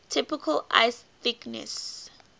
typical ice thickness